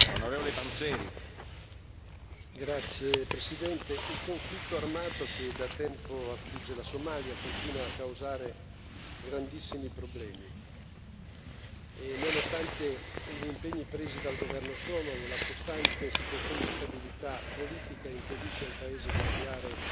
Signor Presidente, onorevoli colleghi, il conflitto armato che da tempo affligge la Somalia continua a causare grandissimi problemi. Nonostante gli impegni presi dal governo somalo, la costante situazione di instabilità politica impedisce al paese di avviare